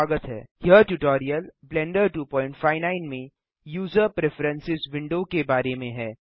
यह tutorial Blender 259 में user preferences window के बारे में है